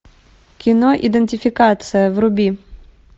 кино идентификация вруби